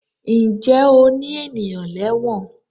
Ǹjẹ́ o ní ènìyàn lẹ́wọ̀n?